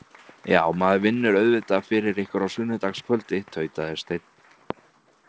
Já, maður vinnur auðvitað fyrir ykkur á sunnudagskvöldi, tautaði Steinn.